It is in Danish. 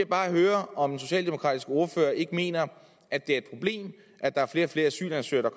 bare høre om den socialdemokratiske ordfører ikke mener at det er et problem at der er flere og flere asylansøgere